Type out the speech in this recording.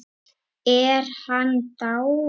Er hann dáinn?